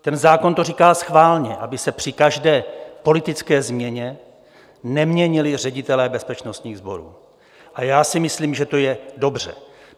Ten zákon to říká schválně, aby se při každé politické změně neměnili ředitelé bezpečnostních sborů, a já si myslím, že to je dobře.